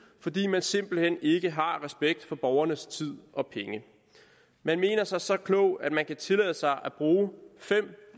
fordi man simpelt hen ikke har respekt for borgernes tid og penge man mener sig så klog at man kan tillade sig at bruge fem